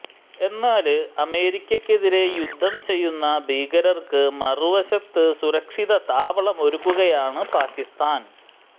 എന്നാല് അമേരിക്കക്കെതിരെ യുദ്ധം ചെയ്യുന്ന ഭീകരര്ക്ക് മറുവശത്ത് സുരക്ഷിത താവളമൊരുക്കുകയാണ് പാക്കിസ്ഥാന്